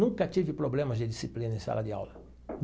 Nunca tive problemas de disciplina em sala de aula.